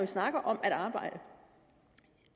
snakker om at arbejde